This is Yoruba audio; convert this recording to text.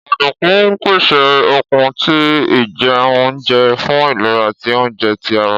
Ọdunkun pese okun ti ijẹunjẹ fun ilera ti ounjẹ ti ara.